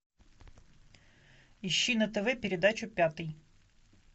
ищи на тв передачу пятый